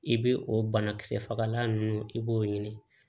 I bɛ o banakisɛ fagalan ninnu i b'o ɲini